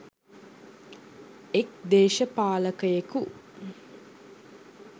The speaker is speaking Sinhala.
එක් දේශපාලකයෙකු